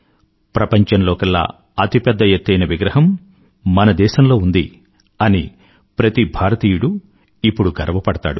ప్రపంచంలోకెల్లా అతి పెద్ద ఎత్తైన ప్రతిమ మన దేశంలో ఉంది అని ప్రతి భారతీయుడూ ఇప్పుడు గర్వపడతాడు